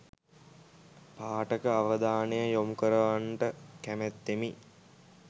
පාඨක අවධානය යොමු කරවන්ට කැමැත්තෙමි